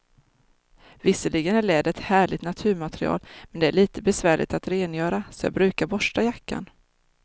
Visserligen är läder ett härligt naturmaterial, men det är lite besvärligt att rengöra, så jag brukar borsta jackan.